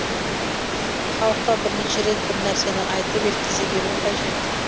халыққа бірнеше рет бір нәрсені айтып жеткізе беру қажет